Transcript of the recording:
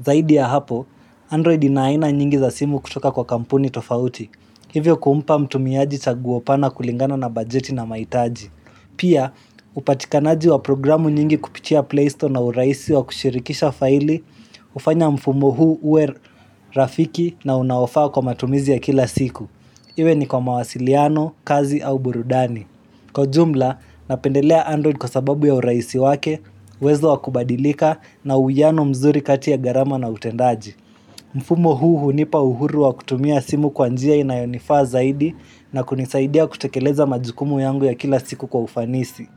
Zaidi ya hapo, Android ina aina nyingi za simu kutoka kwa kampuni tofauti. Hivyo kumpa mtumiaji chaguo pana kulingana na bajeti na maitaji. Pia, upatikanaji wa programu nyingi kupitia Playstore na uraisi wa kushirikisha faili, hufanya mfumo huu uwe rafiki na unaofaa kwa matumizi ya kila siku. Iwe ni kwa mawasiliano, kazi au burudani. Kwa jumla, napendelea Android kwa sababu ya uraisi wake, uwezo wa kubadilika na uwiano mzuri kati ya gharama na utendaji. Mfumo huu hunipa uhuru wa kutumia simu kwa njia inayonifaa zaidi na kunisaidia kutekeleza majukumu yangu ya kila siku kwa ufanisi.